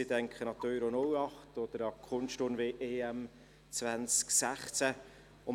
ich denke an die Euro 2008 oder an die Kunstturn-EM 2016.